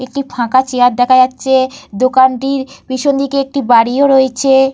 একটি ফাঁকা চেয়ার দেখা যাচ্ছে। দোকানটির পেছনদিকে একটি বাড়িও রয়েছে।